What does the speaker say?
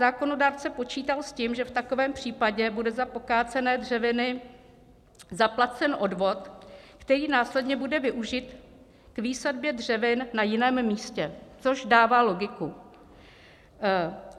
Zákonodárce počítal s tím, že v takovém případě bude za pokácené dřeviny zaplacen odvod, který následně bude využit k výsadbě dřevin na jiném místě, což dává logiku.